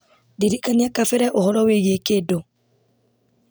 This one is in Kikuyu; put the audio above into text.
ndirikania kabere ũhoro wĩgiĩ kĩndũ